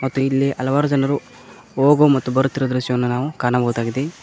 ತ್ತು ಇಲ್ಲಿ ಹಲವಾರು ಜನರು ಹೋಗು ಮತ್ತು ಬರುತ್ತಿರುವ ದೃಶ್ಯವನ್ನು ನಾವು ಕಾಣಬಹುದಾಗಿದೆ.